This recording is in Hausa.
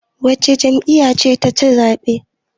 Wace jami'ya ce taci zaɓe?